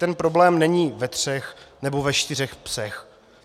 Ten problém není ve třech nebo ve čtyřech psech.